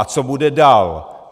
A co bude dál?